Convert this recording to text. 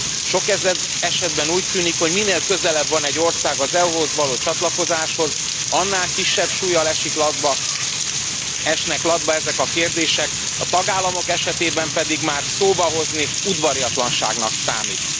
Sok esetben úgy tűnik, hogy minél közelebb van egy ország az EU hoz való csatlakozáshoz, annál kisebb súllyal esnek latba ezek a kérdések, a tagállamok esetében pedig már szóba hozni udvariatlanságnak számít.